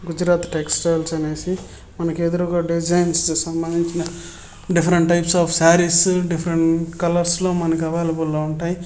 Gujarat textiles అనేసి మనకు ఎదురుగా డిజైన్స్ సంబంధించినవి different types of sarees difference కలర్స్లో మనకు అవైలబుల్ గా ఉంటాయి.